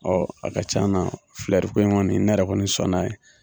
a ka can na filɛriko in kɔni ne yɛrɛ kɔni sɔnn'a ye.